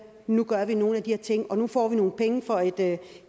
nu gør vi nogle af de her ting og nu får vi nogle penge fra at